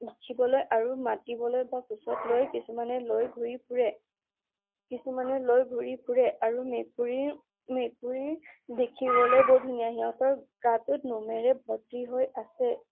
আৰু মাতিবলৈ বা কোচত লৈ কিছুমানে লৈ ঘূৰি ফুৰে। কিছুমানে লৈ ঘূৰি ফুৰে আৰু মেকুৰীৰ, মেকুৰী দেখিবলৈ বৰ ধুনীয়া। সিহতৰ গা টো নোমেৰে ভৰ্তি হৈ আছে।